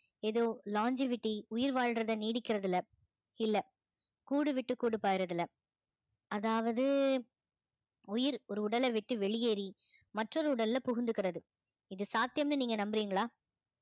ஏதோ longevity உயிர் வாழ்றதை நீடிக்கிறதுல இல்லை கூடு விட்டு கூடு பாரு இதுல அதாவது உயிர் ஒரு உடலை விட்டு வெளியேறி மற்றொரு உடல்ல புகுந்துக்கிறது இது சாத்தியம்ன்னு நீங்க நம்புறீங்களா